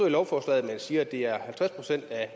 i lovforslaget siger man at det er halvtreds procent af